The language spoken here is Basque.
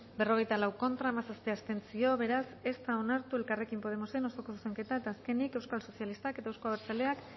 berrogeita lau contra hamazazpi abstentzio beraz ez da onartu elkarrekin podemosen osoko zuzenketa eta azkenik euskal sozialistak eta euzko abertzaleak